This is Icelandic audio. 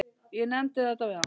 Ég nefndi þetta við hann.